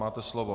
Máte slovo.